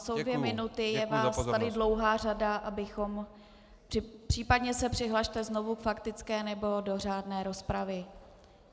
Jsou dvě minuty, je vás tady dlouhá řada, abychom, případně se přihlaste znovu k faktické nebo do řádné rozpravy.